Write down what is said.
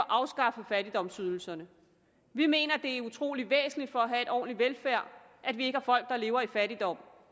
afskaffet fattigdomsydelserne vi mener det er utrolig væsentligt for at have en ordentlig velfærd at vi ikke har folk der lever i fattigdom